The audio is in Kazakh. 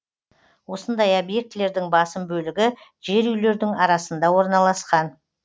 осындай объектілердің басым бөлігі жер үйлердің арасында орналасқан